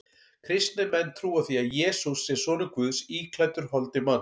Kristnir menn trúa því að Jesús sé sonur Guðs íklæddur holdi manns.